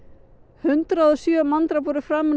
hundrað og sjö manndráp voru framin